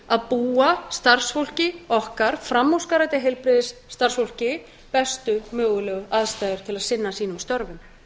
við ekki starfsfólkinu okkar framúrskarandi starfsfólki bestu mögulegu aðstæður til að sinna sínum störfum